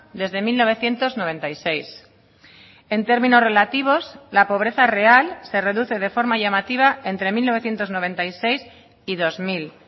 desde mil novecientos noventa y seis en términos relativos la pobreza real se reduce de forma llamativa entre mil novecientos noventa y seis y dos mil